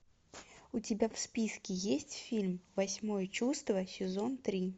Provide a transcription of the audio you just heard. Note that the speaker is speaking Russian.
у тебя в списке есть фильм восьмое чувство сезон три